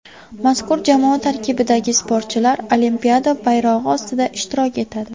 Mazkur jamoa tarkibidagi sportchilar Olimpiada bayrog‘i ostida ishtirok etadi.